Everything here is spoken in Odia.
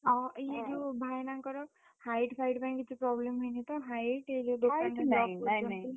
ଅହ! ଇଏ ଯୋଉ ଭାଇନାଙ୍କର, height ଫାଇଟ୍ ପାଇଁ କିଛି problem ହେଇନି ତ height ।